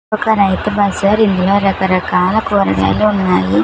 ఒక రైతు బజార్ ఇందులో రక రకాల కూరగాయలు ఉన్నాయి.